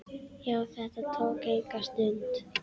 Já, þetta tók enga stund.